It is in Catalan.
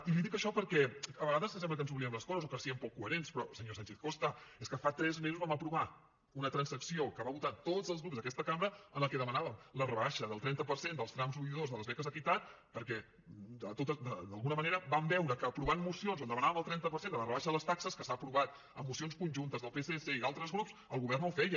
i li dic això perquè a vegades sembla que ens n’oblidem de les coses o que siguem poc coherents però senyor sánchez costa és que fa tres mesos vam aprovar una transacció que van votar tots els grups d’aquesta cambra en la que demanàvem la rebaixa del trenta per cent dels trams un i dos de les beques equitat perquè d’alguna manera vam veure que aprovant mocions on demanàvem el trenta per cent de la rebaixa de les taxes que s’han aprovat en mocions conjuntes del psc i d’altres grups el govern no ho feia